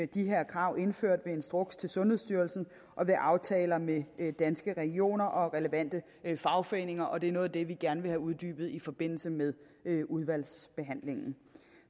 de her krav indført ved instruks til sundhedsstyrelsen og ved aftaler med danske regioner og relevante fagforeninger og det er noget af det vi gerne vil have uddybet i forbindelse med udvalgsbehandlingen